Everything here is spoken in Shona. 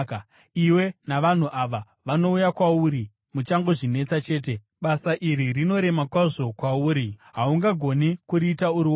Iwe navanhu ava vanouya kwauri muchangozvinetesa chete. Basa iri rinorema kwazvo kwauri; haungagoni kuriita uri woga.